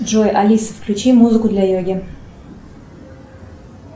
джой алиса включи музыку для йоги